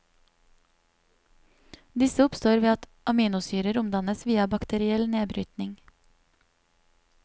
Disse oppstår ved at aminosyrer omdannes via bakteriell nedbrytning.